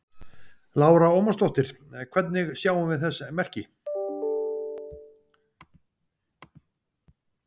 Lára Ómarsdóttir: Hvernig sjáum við þess merki?